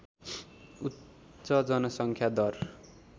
उच्च जनसङ्ख्या दर